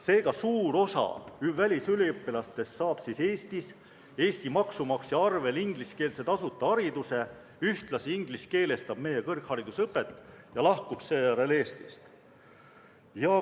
" Seega, suur osa välisüliõpilastest saab Eestis Eesti maksumaksja arvel ingliskeelse tasuta hariduse, ühtlasi ingliskeelestab meie kõrgharidusõpet ja lahkub seejärel Eestist.